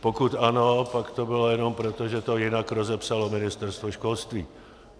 Pokud ano, pak to bylo jenom proto, že to jinak rozepsalo Ministerstvo školství.